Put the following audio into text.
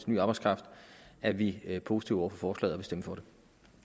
ny arbejdskraft er vi vi positive over for forslaget stemme for